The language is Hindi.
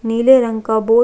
नीले रंग का बोर्ड --